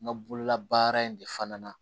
N ka bololabaara in de fana na